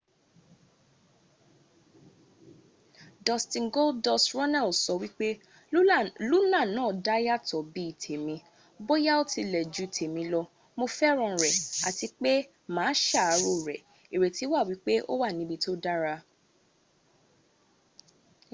dustin goldust” runnels sọ wípé luna náà dá yàtọ̀ bí i tèmi...bóyá ó tilẹ̀ ju tèmi lọ...mo fẹ́ràn rẹ̀ àti pé mà á sàárò rẹ̀...ìrètí wà wípé ó wà níbi tó dára.